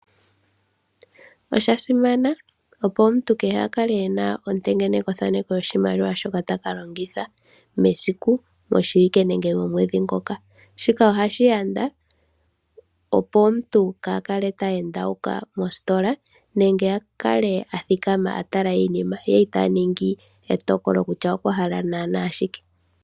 Osha simana omuntu kehe a kake ena ontengenekothaneko lyo shimaliwa shoka takalongitha mesiku moshiwike nenge momwedhi ngoka shika ohashi yanda, opo omuntu kaha kale teende mositola nenge a kale a thikama a tala iinima ye ita ningi etokolo kutya okwa hala shike.